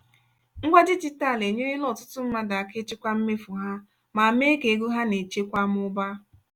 ngwa dijitalụ enyerela ọtụtụ mmadụ aka ịchịkwa mmefu ha ma mee ka ego ha na-echekwa mụbaa.